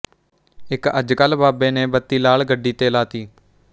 ਇੱਕ ਅੱਜ ਕੱਲ੍ਹ ਬਾਬੇ ਨੇ ਬੱਤੀ ਲਾਲ ਗੱਡੀ ਤੇ ਲਾ ਤੀ